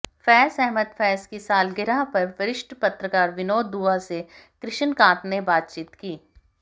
फ़ैज़ अहमद फ़ैज़ की सालगिरह पर वरिष्ठ पत्रकार विनोद दुआ से कृष्णकांत ने बातचीत की